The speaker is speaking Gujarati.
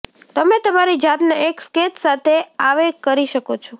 તમે તમારી જાતને એક સ્કેચ સાથે આવે કરી શકો છો